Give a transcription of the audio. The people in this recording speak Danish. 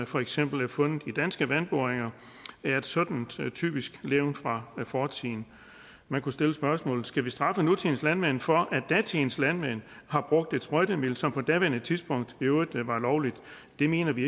for eksempel er fundet i danske vandboringer er et sådant typisk levn fra fortiden man kunne stille spørgsmålet skal vi straffe nutidens landmænd for at datidens landmænd har brugt et sprøjtemiddel som på daværende tidspunkt i øvrigt var lovligt det mener vi